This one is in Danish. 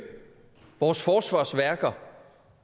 vores forsvarsværker